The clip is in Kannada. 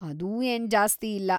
ಅದೂ ಏನ್‌ ಜಾಸ್ತಿ ಅಲ್ಲ.